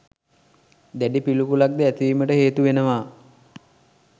දැඩි පිළිකුලක්ද ඇතිවීමට හේතු වෙනවා.